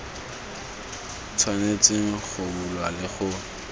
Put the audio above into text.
tshwanetseng go bulwa le go